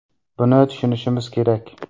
Buni tushunishimiz kerak.